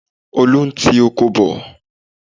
Olú ń tí oko bọ̀.